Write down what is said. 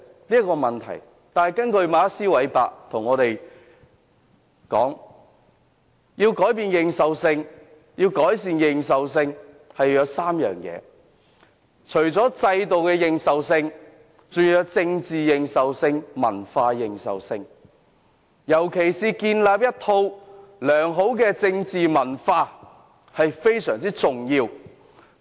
可是，根據馬克斯.韋伯所說，改善認受性要具備3項條件：制度認受性、政治認受性和文化認受性，而建立一套良好的政治文化尤其重要。